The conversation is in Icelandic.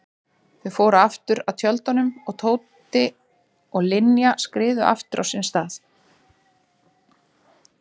Þau fóru aftur að tjöldunum og Tóti og Linja skriðu aftur á sinn stað.